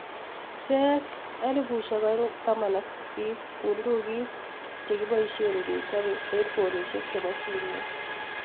CES 2018: Bundukit chekiboisiei kechobe hedfonisiek chebo simet.